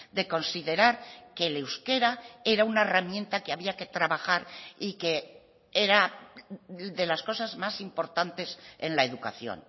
de considerar que el euskera era una herramienta que había que trabajar y que era de las cosas más importantes en la educación